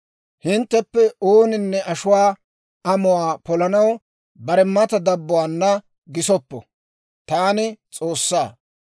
« ‹Hintteppe ooninne ashuwaa amuwaa polanaw bare mata dabbuwaana gisoppo. Taani S'oossaa.